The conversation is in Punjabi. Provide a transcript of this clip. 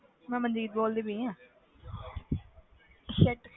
ਮੈਂ ਮਨਦੀਪ ਬੋਲਦੀ ਪਈ ਹਾਂ